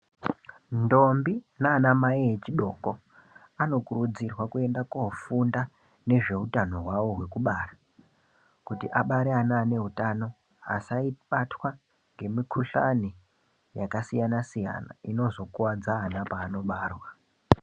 Ntombi naana mai echidoko anokurudzirwa kuenda kofunda ngezveutano hwavo hwekubara, kuti abare ana ane utano. Asabatwe ngemukhuhlani yakasiyana siyana inozokuwadza ana paanobarwa.